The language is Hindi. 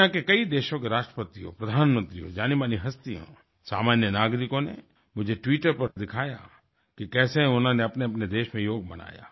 दुनिया के कई देशों के राष्ट्रपतियों प्रधानमंत्रियों जानीमानी हस्तियोंसामान्य नागरिकों ने मुझे ट्विटर पर दिखाया कि कैसे उन्होंने अपनेअपने देशों में योग मनाया